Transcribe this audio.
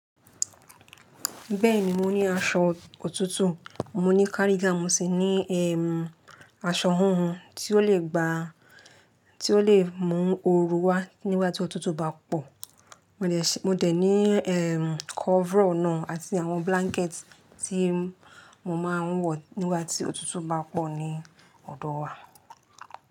Bẹ́ẹ̀ni mo ní aṣọ òtútù, mo ní cardigan, mo sì ní ẹm, aṣọ hunhun tí ó lè gba, tí ó lè mú oru wá nígbà tí òtútù bá pọ̀. Mo dẹ̀ ṣi-, mo dẹ̀ ní ẹm, kọ́vrọ̀ náà àti àwọn blanket tí mo máa ń wọ̀ nígbà tí òtútù bá pọ̀ ní ọ̀dọ̀ wa.